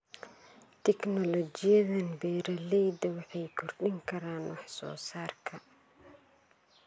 Tignoolajiyadan, beeralayda waxay kordhin karaan wax soo saarka.